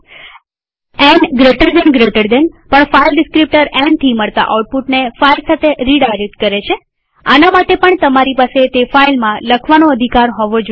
ન gtgtબે જમણા ખૂણાવાળા કૌંસ પણ ફાઈલ ડીસ્ક્રીપ્ટર nથી મળતા આઉટપુટને ફાઈલ સાથે રીડાયરેક્ટ કરે છે આના માટે પણ તમારી પાસે તે ફાઈલમાં લખવાનો અધિકાર હોવો જોઈએ